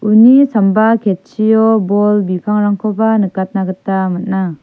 uni samba ketchio bol bipangrangkoba nikatna gita man·a.